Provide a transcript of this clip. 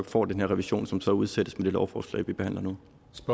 får den her revision som så udsættes med lovforslag vi behandler nu